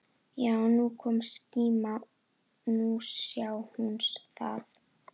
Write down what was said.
Já, nú kom skíma, nú sá hún það!